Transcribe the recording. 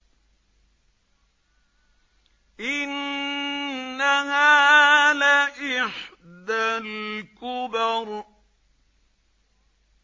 إِنَّهَا لَإِحْدَى الْكُبَرِ